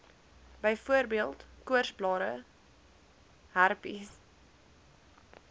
byvoorbeeld koorsblare herpes